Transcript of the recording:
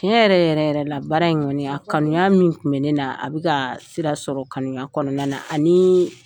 Tiɲɛ yɛrɛ yɛrɛ yɛrɛ la baara in ŋɔni, a kanuya min tun be nenaa, a be kaa sira sɔrɔ kanuya kɔnɔna na anii